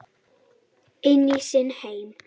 Inn í sinn heim.